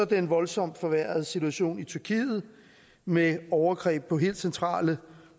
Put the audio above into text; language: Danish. den voldsomt forværrede situation i tyrkiet med overgreb på helt centrale